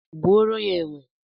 Gbuoro ha enwe